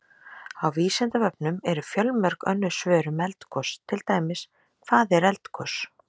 Á Vísindavefnum eru fjölmörg önnur svör um eldgos, til dæmis: Hvað er eldgos?